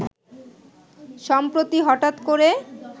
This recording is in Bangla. সম্প্রতি হঠাৎ করে